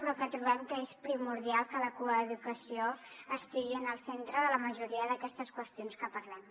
però trobem que és primordial que la coeducació estigui en el centre de la majoria d’aquestes qüestions que parlem